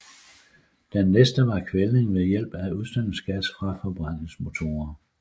Den næste var kvælning ved hjælp af udstødningsgas fra forbrændingsmotorer